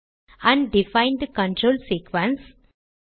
undefined control sequence